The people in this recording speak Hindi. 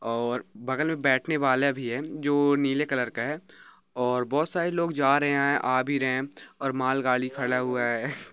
--और बगल मे बैठने वाला भी है जो नीले कलर हैं और बहोत सारे लोग जा रहे हैं आ भी रहे हैं और माल गाड़ी खड़ा हुआ है।